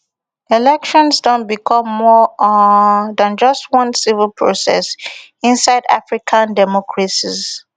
elections don become more um than just one civil process inside african democracies